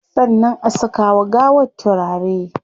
Sannan a saka wa gawar turare